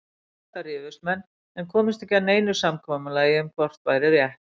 Um þetta rifust menn en komust ekki að neinu samkomulagi um hvort væri rétt.